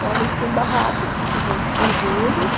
Geralmente tem barracas que vendem cervejas.